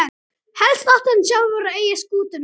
Helst átti hann sjálfur að eiga skútuna.